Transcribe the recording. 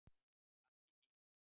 Allt í fína